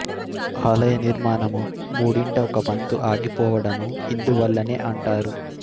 ఆలయ నిర్మాణము మూడింట ఒక వంతు ఆగిపోవడము ఇందువల్లనే అంటారు